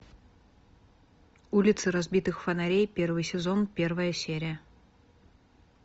улицы разбитых фонарей первый сезон первая серия